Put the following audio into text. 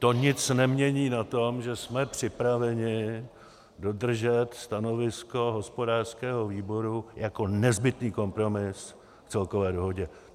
To nic nemění na tom, že jsme připraveni dodržet stanovisko hospodářského výboru jako nezbytný kompromis k celkové dohodě.